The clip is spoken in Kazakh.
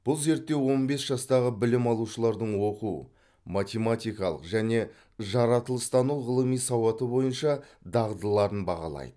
бұл зерттеу он бес жастағы білім алушылардың оқу математикалық және жаратылыстану ғылымы сауаты бойынша дағдыларын бағалайды